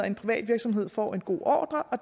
en privat virksomhed får en god ordre og